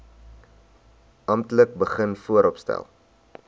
amptelik begin vooropstel